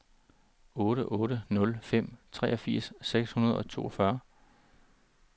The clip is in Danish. otte otte nul fem treogfirs seks hundrede og toogfyrre